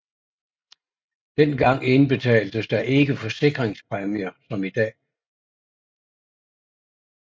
Dengang indbetaltes der ikke forsikringspræmier som i dag